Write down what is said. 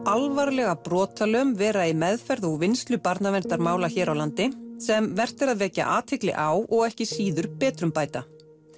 alvarlega brotalöm vera í meðferð og úrvinnslu barnaverndarmála hér á landi sem vert er að vekja athygli á og ekki síður betrumbæta